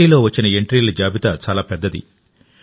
పోటీలో వచ్చిన ఎంట్రీల జాబితా చాలా పెద్దది